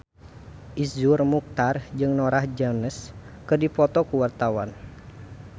Iszur Muchtar jeung Norah Jones keur dipoto ku wartawan